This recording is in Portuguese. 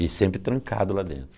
E sempre trancado lá dentro.